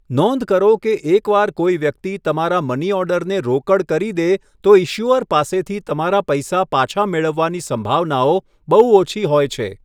નોંધ કરો કે એકવાર કોઈ વ્યક્તિ તમારા મની ઓર્ડરને રોકડ કરી દે, તો ઈશ્યુઅર પાસેથી તમારા પૈસા પાછા મેળવવાની સંભાવનાઓ બહુ ઓછી હોય છે.